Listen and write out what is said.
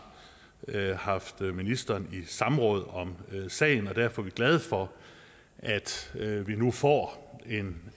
haft ministeren i samråd om sagen og derfor er vi glade for at vi nu får en